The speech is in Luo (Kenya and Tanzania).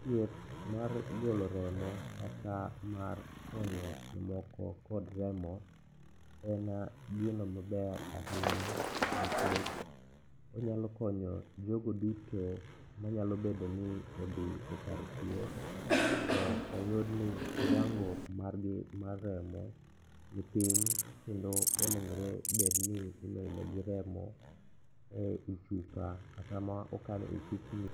Thieth mar golo remo kata mar konyo jomoko kod remo en gino maber ahinya nikech onyalo konyo jogo duto manyalo bedo ni odhi e kar thieth to oyudni kiwango margi mar remo nipiny kendo onegore bedni imedogi remo e i chupa kata ma okan e chupni.